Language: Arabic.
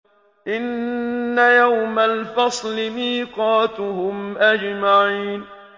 إِنَّ يَوْمَ الْفَصْلِ مِيقَاتُهُمْ أَجْمَعِينَ